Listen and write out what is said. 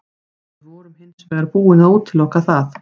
Við vorum hins vegar búin að útiloka það.